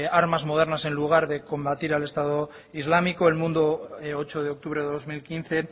armas modernas en lugar de combatir al estado islámico el mundo ocho de octubre de dos mil quince